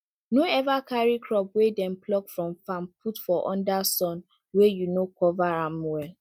no ever carry crop wey dem pluck from farm put for under sun wey you no cover am well